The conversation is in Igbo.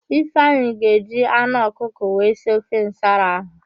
Ifeanyị ga-eji anụ ọkụkọ wee si ofe nsala ahụ.